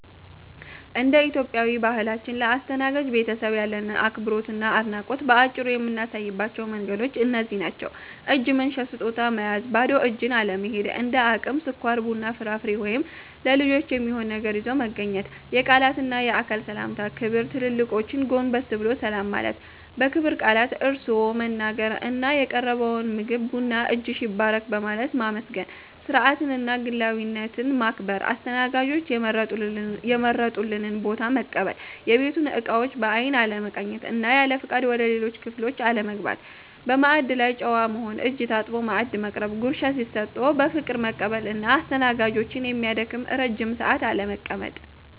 እንደ ኢትዮጵያዊ ባህላችን፣ ለአስተናጋጅ ቤተሰብ ያለንን አክብሮትና አድናቆት በአጭሩ የምናሳይባቸው መንገዶች እነዚህ ናቸው፦ እጅ መንሻ (ስጦታ) መያዝ ባዶ እጅን አለመሄድ፤ እንደ አቅም ስኳር፣ ቡና፣ ፍራፍሬ ወይም ለልጆች የሚሆን ነገር ይዞ መገኘት። የቃላትና የአካል ሰላምታ ክብር ትልልቆችን ጎንበስ ብሎ ሰላም ማለት፣ በክብር ቃላት (እርስዎ) መናገር እና የቀረበውን ምግብና ቡና "እጅሽ ይባረክ" በማለት ማመስገን። ስርዓትንና ግላዊነትን ማክበር አስተናጋጆች የመረጡልንን ቦታ መቀበል፣ የቤቱን እቃዎች በአይን አለመቃኘት እና ያለፍቃድ ወደ ሌሎች ክፍሎች አለመግባት። በማዕድ ላይ ጨዋ መሆን እጅ ታጥቦ ማዕድ መቅረብ፣ ጉርስ ሲሰጡ በፍቅር መቀበል እና አስተናጋጆችን የሚያደክም ረጅም ሰዓት አለመቀመጥ።